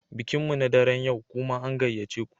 Bikin mu na daren yau, kuma an gayyace ku